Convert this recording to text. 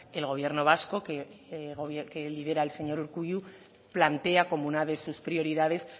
el gobierno vasco que lidera el señor urkullu plantea como una de sus prioridades